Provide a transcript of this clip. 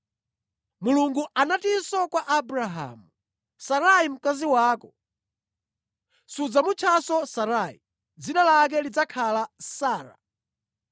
Mulungu anatinso kwa Abrahamu, “Sarai mkazi wako, sudzamutchanso Sarai; dzina lake lidzakhala Sara.